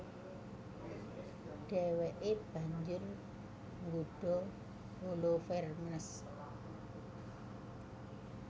Dhèwèké banjur nggodha Holofernes